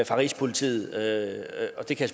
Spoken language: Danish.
fra rigspolitiet og det kan